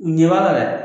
U ɲɛ b'a la dɛ